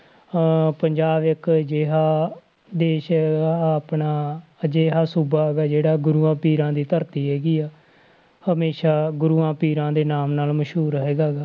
ਅਹ ਪੰਜਾਬ ਇੱਕ ਅਜਿਹਾ ਦੇਸ ਆਪਣਾ ਅਜਿਹਾ ਸੂਬਾ ਹੈਗਾ ਜਿਹੜਾ ਗੁਰੂਆਂ ਪੀਰਾਂ ਦੀ ਧਰਤੀ ਹੈਗੀ ਆ ਹਮੇਸ਼ਾ ਗੁਰੂਆਂ ਪੀਰਾਂ ਦੇ ਨਾਮ ਨਾਲ ਮਸ਼ਹੂਰ ਹੈਗਾ ਗਾ।